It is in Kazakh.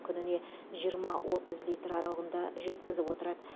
күніне жиырма отыз литр аралығында жеткізіп отырады